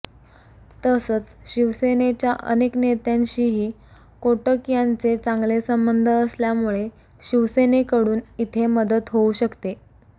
तसंच शिवसेनेच्या अनेक नेत्यांशीही कोटक यांचे चांगले संबंध असल्यामुळे शिवसेनेकडून इथे मदत होऊ शकते